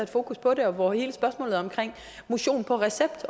fokus på det og hvor hele spørgsmålet om motion på recept